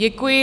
Děkuji.